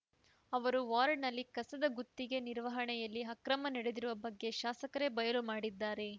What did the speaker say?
ಅವರು ವಾರ್ಡ್‌ನಲ್ಲಿ ಕಸದ ಗುತ್ತಿಗೆ ನಿರ್ವಹಣೆಯಲ್ಲಿ ಅಕ್ರಮ ನಡೆದಿರುವ ಬಗ್ಗೆ ಶಾಸಕರೇ ಬಯಲು ಮಾಡಿದ್ದಾರೆ